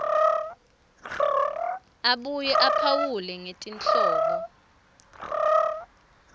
abuye aphawule ngetinhlobo